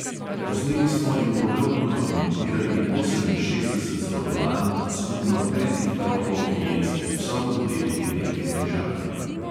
Posneli smo in podrobno dokumentirali oseminšestdeset zborovanj skupno petih tropov hijenskih psov v delti reke rižane.